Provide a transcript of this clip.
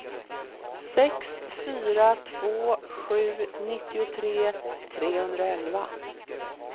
sex fyra två sju nittiotre trehundraelva